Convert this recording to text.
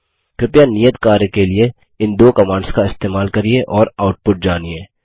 कृपया नियत कार्य के लिए इन दो कमांड्स का इस्तेमाल करिये और आउटपुट जानिए